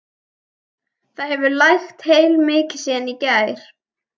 Það hefur lægt heilmikið síðan í gær.